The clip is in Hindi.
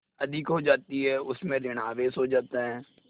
अधिक हो जाती है उसमें ॠण आवेश हो जाता है